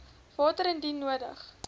water indien nodig